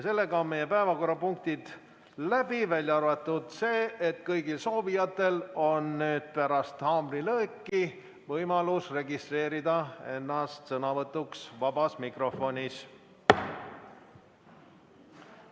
Sellega on meie päevakorrapunktid läbi, välja arvatud see, et kõigil soovijatel on nüüd pärast haamrilööki võimalus registreerida ennast sõnavõtuks vabas mikrofonis.